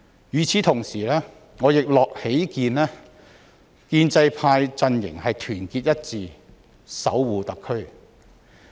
與此同時，我亦喜見建制派陣營團結一致守護特區。